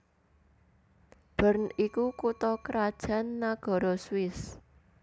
Bern iku kutha krajan nagara Swiss